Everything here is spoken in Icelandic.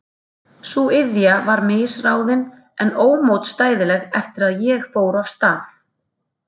Sú iðja var misráðin en ómótstæðileg eftir að ég fór af stað.